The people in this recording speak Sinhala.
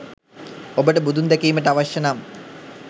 ඔබට බුදුන් දැකීමට අවශ්‍යය නම්